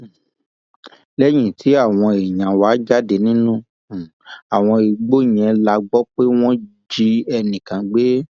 um lẹyìn tí àwọn èèyàn wá jáde nínú um àwọn igbó yẹn la gbọ pé wọn jí ẹnì kan gbé